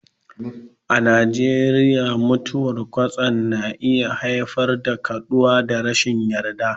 A Najeriya, mutuwar kwatsam na iya haifar da kaduwa da rashin yarda.